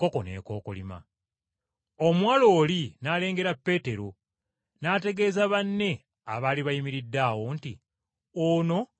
Omuwala oli n’alengera Peetero, n’ategeeza banne abaali bayimiridde awo nti, “Ono ali omu ku bo.”